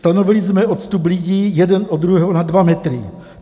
Stanovili jsme odstup lidí jeden od druhého na 2 metry.